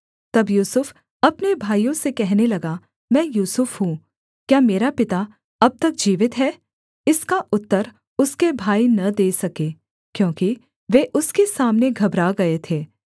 तब यूसुफ अपने भाइयों से कहने लगा मैं यूसुफ हूँ क्या मेरा पिता अब तक जीवित है इसका उत्तर उसके भाई न दे सके क्योंकि वे उसके सामने घबरा गए थे